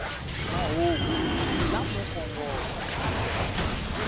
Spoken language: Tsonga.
mahungu hi lamo kongoma kambe